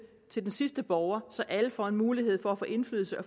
til den sidste borger så alle får en mulighed for at få indflydelse